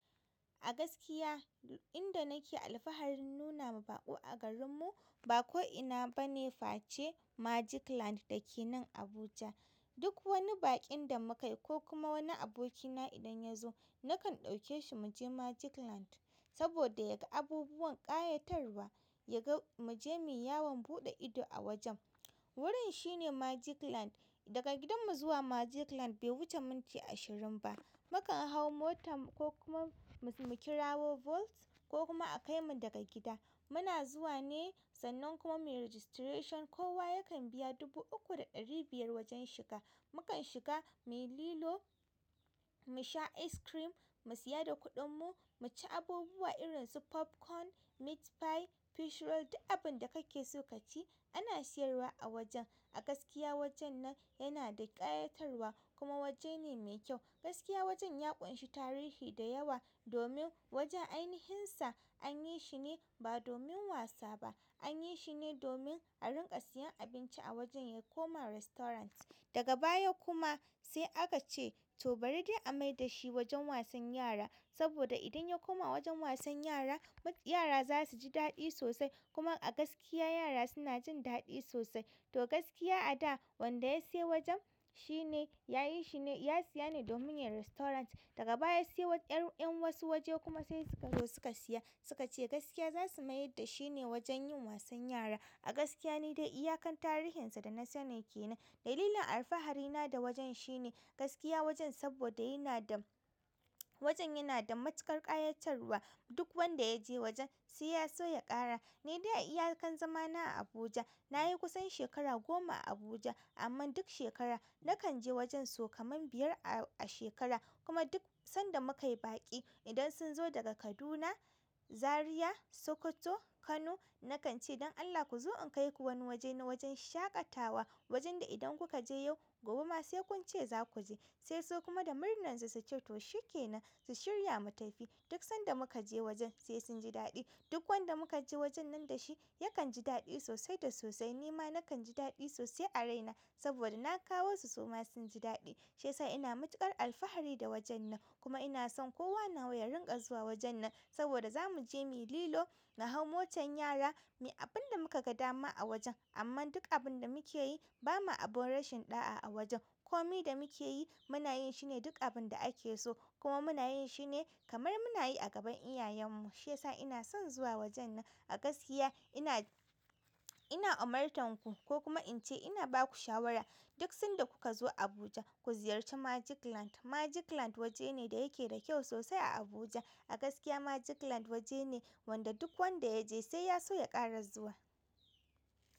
A gaskiya inda nake alfahari nuna ma baƙo a garin mu ba ko ina ba ne face Magicland da ke nan Abuja. Duk wani baƙin da muka yi ko kuma wani abokina idan ya zo nakan ɗauke shi mu je Magicland saboda ya ga abubuwan ƙayatarwa, ya ga mu je muyi yawon buɗe ido a wajen. Wurin shine Magicland. Daga gidanmu zuwa Magicland bai wuce minti ashirin ba. Mu kan hau mota ko kuma mu kirawo bolt, ko kuma a kaimu daga gida muna zuwa ne, sannan kuma muyi registration. Kowa yakan biya dubu uku da ɗari biyar wajen shiga. Mukan shiga muyi lilo, mu sha ice cream, mu siya da kuɗinmu, mu ci abubuwa irin su popcorn, meat pie, fish roll, duk abin da kake so ka ci ana siyarwa a wajen. A gaskiya wajen nan yana da ƙayatarwa kuma waje ne me kyau. Gaskiya wajen ya ƙunshi tarihi da yawa domin wajen ainihin sa an yi shi ne ba domin wasa ba, an yi shi ne domin a rinƙa siyan abinci a wajen ya koma restaurant. Daga baya kuma sai aka ce to bari dai a mai da shi wajen wasan yara saboda idan ya koma wajen wasan yara, yara za su ji daɗi sosai. Kuma a gaskiya yara suna jin daɗi sosai. To gaskiya a da wanda ya sayi wajen shi ne, ya yi shi ne ya siya ne domin yin restaurant. Daga baya sai ƴar ƴan wasu waje kuma sai suka zo suka siya. Suka ce gaskiya za su mayar da shi ne wajen yin wasan yara. A gaskiya nidai iyakan tarihin sa da na sani ke nan. Dalilin alfahari na da wajen shi ne gaskiya wajen saboda yana da wajen yana da matuƙar ƙayatarwa. Duk wanda ya je wajen sai ya so ya ƙara. Ni dai a iyakan zamana a Abuja na yi kusan shekara goma a Abuja amma duk shekara na kan je wajen sau kaman biyar a shekara. Kuma duk sanda muka yi baƙi idan sun zo daga Kaduna, Zariya, Sokoto, Kano na kan ce don Allah ku zo in kai ku wani waje na wajen shaƙatawa. Wajen da idan kuka je yau, gobe ma sai kun ce za ku je. Sai su kuma da murnar su su ce to shi ke nan, su shirya mu tafi. Duk sanda muka je wajen sai sun ji daɗi. Duk wanda muka je wajen nan da shi yakan ji daɗi sosai da sosai. Ni ma nakan ji daɗi sosai a raina saboda na kawo su su ma sun ji daɗi. Shiyasa ina matuƙar alfahari da wajen nan kuma ina son kowa nawa ya rinƙa zuwa wajen nan saboda za mu je muyi lilo, na hau motar yara, muyi abin da muka ga dama a wajen. Amma duk abin da muke yi ba ma abun rashin ɗa'a a wajen. Komi da mu ke yi muna yin shi ne duk abinda ake so kuma muna yin shi ne kamar muna yi a gaban iyayen mu, shiyasa ina son zuwa wajen nan. A gaskiya ina, ina umartanku ko kuma in ce ina ba ku shawara duk sanda kuka zo Abuja ku ziyarci Magicland. Magicland waje ne da yake da kyau sosai a Abuja. A gaskiya Magicland waje ne wanda duk wanda ya je sai ya so ya ƙara zuwa.